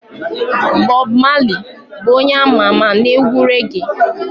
Bob Marley bụ onye ama ama na-egwu reggae